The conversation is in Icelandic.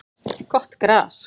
Gott gras